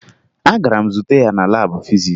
Agara m zute ya na laabụ fizis